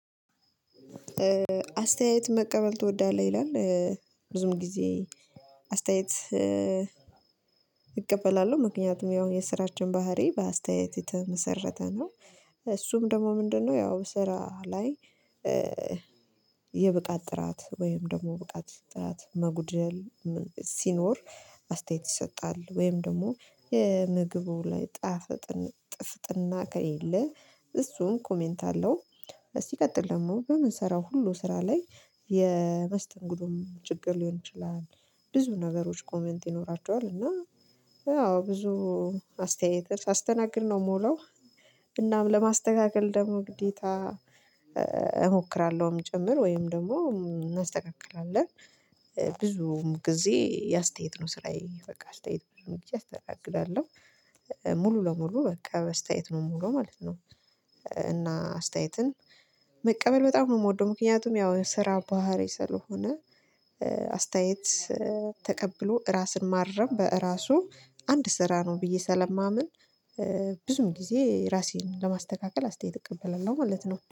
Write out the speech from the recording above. አስተያየት መቀበል ትወዳለህ? ይላል ብዙም ጊዜ አስተያየት እቀበላለሁ ምክንያቱም ያው የስራችን ባህሪ በአስተያየት የተመሰረተ ነው። እሱም ደግሞ ምንድነው ያው ስራ ላይ የብቃት ጥራት ወይም ደግሞ ብቃት ጥራት መጉደል ሲኖር አስተያየት ይሰጣል ወይም ደግሞ የምግቡ ላይ ጣፍጥና ከሌለ እሱን ኮሜንት አለው። እስቲ ቀጥል ደግሞ በምንሰራው ሁሉ ስራ ላይ የመስተንግዶም ችግር ሊሆን ይችላል። ብዙ ነገሮች ኮሜንት ይኖራቸዋል እና ያው ብዙ አስተያየትን ሳስተናግድ ነው የምውለው እናም ለማስተካከል ደግሞ ግዴታ እሞክራለሁም ጭምር ወይም ደግሞ እናስተካክላለን። ብዙ ጊዜ የአስተያየት ነው ስራዬ በቃ አስተያየት ብዙም ጊዜ እስተናግዳለው ሙሉ ለሙሉ በቃ በስተያየት ነው ሙሉ ማለት ነው። እና አስተያየትን መቀበል በጣም ነው የምወደው ምክንያቱም ያው ስራ ባህሪ ስለሆነ አስተያየት ተቀብሎ ራስን ማረም በራሱ አንድ ስራ ነው ብዬ ሰለማምን። ብዙም ጊዜ ራሴን ለማስተካከል አስተያየት እቀበለው ማለት ነው